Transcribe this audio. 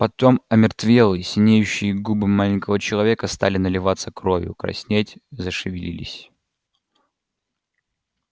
потом омертвелые синеющие губы маленького человека стали наливаться кровью краснеть зашевелились